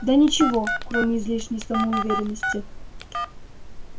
да ничего кроме излишней самоуверенности